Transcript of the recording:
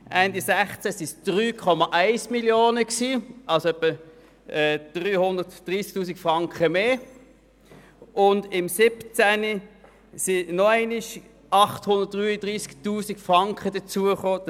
Ende 2016 waren es 3,1 Mio. Franken, also etwa 330 000 Franken mehr, und 2017 kamen nochmals 833 000 Franken hinzu.